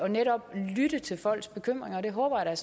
netop at lytte til folks bekymringer og det håber jeg